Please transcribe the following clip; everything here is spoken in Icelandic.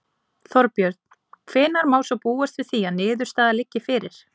Þorbjörn: Hvenær má svo búast við því að niðurstaða liggi fyrir?